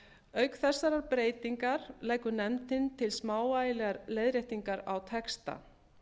auk þessarar breytingar leggur nefndin til smávægilegar leiðréttingar á texta